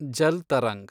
Jal tarang